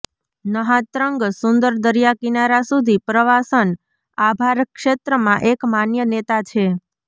નહા Trang સુંદર દરિયાકિનારા સુધી પ્રવાસન આભાર ક્ષેત્રમાં એક માન્ય નેતા છે